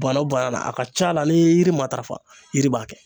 Bana o bana na a ka ca la n'i y'i yiri matarafa yiri b'a kɛ